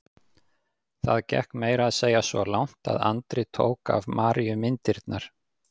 Það gekk meira að segja svo langt að Andri tók af Maríu myndirnar.